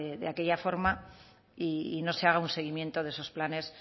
de aquella forma y no se haga un seguimiento de esos planes